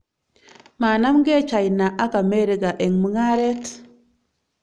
Manamgei China ak Amerika eng mung'aret.